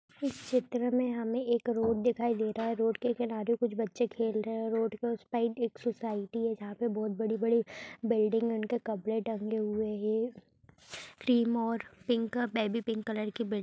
इस चित्र में हमें एक रोड दिखाई दे रहा है रोड के किनारे कुछ बच्चें खेल रहे है रोड के उस साइड एक सोसाइटी है जहाँ पे बोहोत बड़ी- बड़ी बिल्डिंग है उनके कपड़े टंगे हुए है क्रीम और पिक का बेबी पिंक कलर की बिल्डिं --